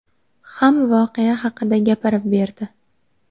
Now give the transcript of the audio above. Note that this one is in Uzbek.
ham voqea haqida gapirib berdi.